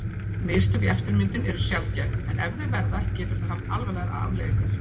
Mistök í eftirmyndun eru sjaldgæf en ef þau verða getur það haft alvarlegar afleiðingar.